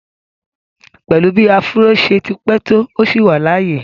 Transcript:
Pẹ̀lú bí áfúró ṣe ti pẹ́ tó, ó ṣì wà láàyè